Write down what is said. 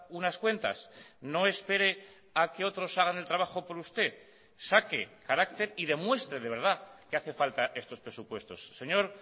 unas cuentas no espere a que otros hagan el trabajo por usted saque carácter y demuestre de verdad que hace falta estos presupuestos señor